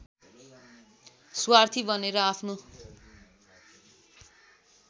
स्वार्थी बनेर आफ्नो